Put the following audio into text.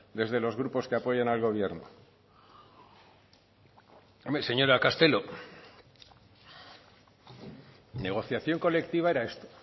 desde los grupos que apoyan al gobierno hombre señora castelo negociación colectiva era esto